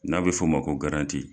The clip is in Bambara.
N'a bɛ f'o ma ko